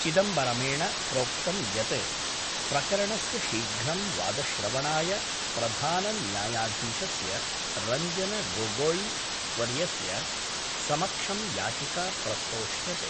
चिदम्बरमेण प्रोक्तम् यत् प्रकरणस्य शीघ्रं वादश्रवणाय प्रधानन्यायाधीशस्य रंजन गोगोई वर्यस्य समक्षं याचिका प्रस्तोष्यते।